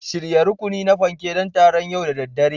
Shirya rukuni na fanke don taron yau da daddare